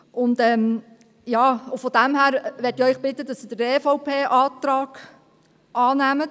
Daher möchte ich Sie bitten, den EVP-Antrag anzunehmen.